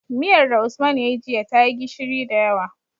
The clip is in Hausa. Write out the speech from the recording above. Miyar da usman yayi jiya tayi gishiri da yawa